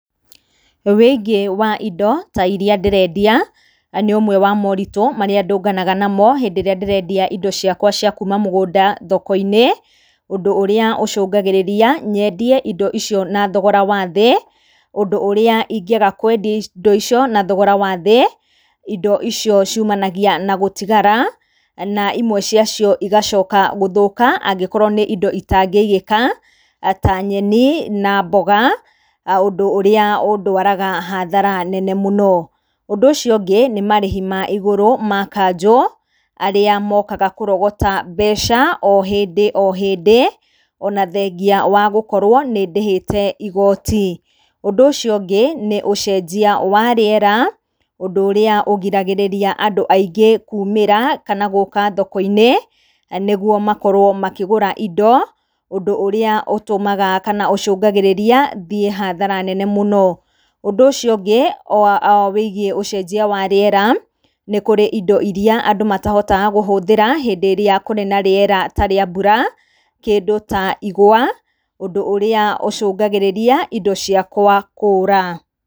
Wĩingĩ wa indo ta iria ndĩrendia nĩ ũmwe wa moritũ marĩa ndũnganaga namo hĩndĩ ĩrĩa ndĩrendia indo ciakwa cia kuma mũgũnda thoko-inĩ, ũndũ ũrĩa ũcũngagĩrĩria nyendie indo icio na thogora wa thĩ, ũndũ ũrĩa ingĩaga kwendia indo icio na thogora wathĩ, indo icio ciumanagia na gũtigara na imwe ciacio igacoka gũthũka angĩkorwo nĩ indo itangĩigĩka ta nyeni na mboga, ũndũ ũrĩa ũndwaraga hathara nene mũno. Ũndũ ũcio ũngĩ nĩ marĩhi ma igũrũ ma kanjũ arĩa mokaga kũrogota mbeca o hĩndĩ o hĩndĩ, ona thengia wa gũkorwo nĩndĩhĩte igoti. Ũndũ ũcio ũngĩ nĩ ũcenjia wa rĩera ũndũ ũrĩa ũgiragĩrĩria andũ aingĩ kumĩra kana gũka thoko-inĩ nĩguo makorwo makĩgũra indo, ũndũ ũrĩa ũtũmaga kana ũcũngagĩrĩria thiĩ hathara nene mũno. Ũndũ ũcio ũngĩ wĩgiĩ ũcenjia wa rĩera, nĩ kũrĩ indo iria andũ matahotaga kũhũthĩra hĩndĩ ĩrĩa kũrĩ na rĩera ta rĩa mbura, kĩndũ ta igwa, ũndũ ũrĩa ũcũngagĩrĩria indo ciakwa kũra.